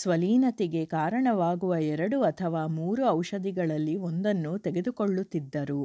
ಸ್ವಲೀನತೆಗೆ ಕಾರಣವಾಗುವ ಎರಡು ಅಥವಾ ಮೂರು ಔಷಧಿಗಳಲ್ಲಿ ಒಂದನ್ನು ತೆಗೆದುಕೊಳ್ಳುತ್ತಿದ್ದರು